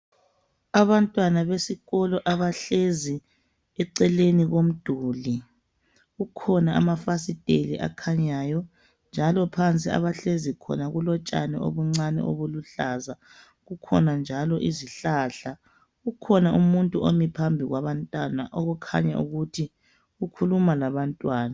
Abantwana besikolo abahlezi eceleni komduli kukhona amafasiteli akhanyayo njalo phansi abahlezi khona kulotshani obuncane obuluhlaza, kukhona njalo izihlahla kukhona umuntu omi phambi kwabantwana okukhanya ukuthi ukhuluma labantwana